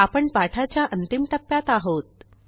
आपण पाठाच्या अंतिम ट्प्प्यात आहोत